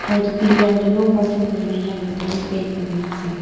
aru edu pillar tae no parking koikae na yellow dae bi paint kurinaase.